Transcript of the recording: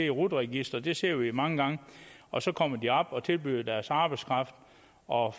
rut registret det ser vi mange gange og så kommer de op og tilbyder deres arbejdskraft og